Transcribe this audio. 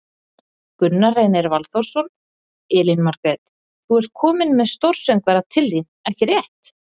Gunnar Reynir Valþórsson: Elín Margrét, þú ert komin með stórsöngvara til þín, ekki rétt?